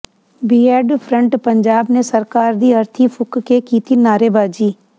BEd front Punjab ਨੇ ਸਰਕਾਰ ਦੀ ਅਰਥੀ ਫੂਕ ਕੇ ਕੀਤੀ ਨਾਅਰੇਬਾਜ਼ੀ